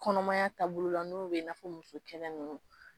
Kɔnɔmaya taabolo la n'o be n'a fɔ musokɛnɛ nunnu